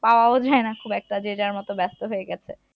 পাওয়া ও যায় না খুব একটা যে যার মত ব্যস্ত হয়ে গেছে